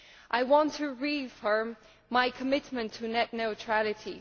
I want to reaffirm my commitment to net neutrality.